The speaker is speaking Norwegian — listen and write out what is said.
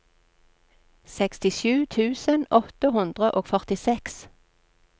sekstisju tusen åtte hundre og førtiseks